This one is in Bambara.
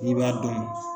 N'i b'a dɔn